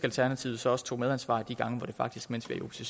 alternativet så også tog medansvar de gange hvor det faktisk mens vi